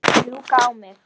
Rjúka á mig?